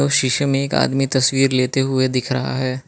शीशे में एक आदमी तस्वीर लेते हुए दिख रहा है।